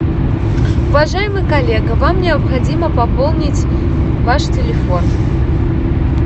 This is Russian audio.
уважаемый коллега вам необходимо пополнить ваш телефон